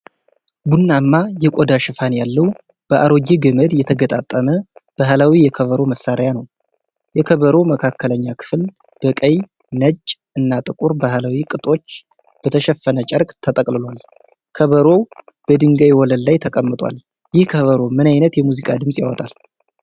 ቡናማ የቆዳ ሽፋን ያለው፣ በአሮጌ ገመድ የተገጣጠመ ባህላዊ የከበሮ መሣሪያ ነው። የከበሮው መካከለኛ ክፍል በቀይ፣ ነጭ እና ጥቁር ባሕላዊ ቅጦች በተሸፈነ ጨርቅ ተጠቅልሏል። ከበሮው በድንጋይ ወለል ላይ ተቀምጧል። ይህ ከበሮ ምን አይነት የሙዚቃ ድምጽ ያወጣል?